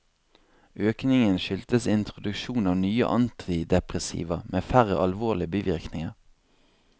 Økningen skyldtes introduksjon av nye antidepressiva med færre alvorlige bivirkninger.